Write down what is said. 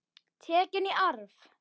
Tekin í arf.